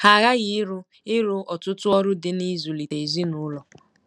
Ha aghaghị ịrụ ịrụ ọtụtụ ọrụ dị n'ịzụlite ezinụlọ.